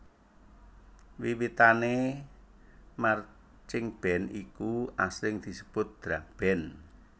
Wiwitane marchingband iku asring disebut drumband